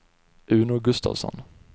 Uno Gustavsson